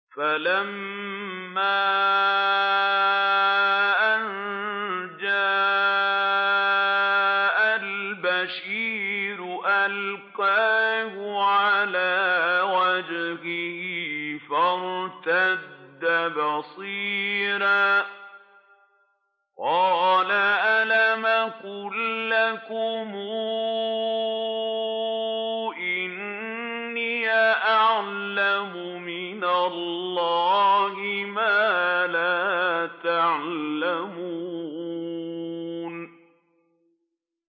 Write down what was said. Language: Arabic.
فَلَمَّا أَن جَاءَ الْبَشِيرُ أَلْقَاهُ عَلَىٰ وَجْهِهِ فَارْتَدَّ بَصِيرًا ۖ قَالَ أَلَمْ أَقُل لَّكُمْ إِنِّي أَعْلَمُ مِنَ اللَّهِ مَا لَا تَعْلَمُونَ